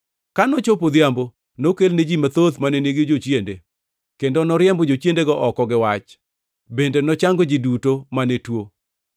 Ka nochopo odhiambo, nokelne ji mathoth mane nigi jochiende, kendo noriembo jochiendego oko gi wach, bende nochango ji duto mane tuo.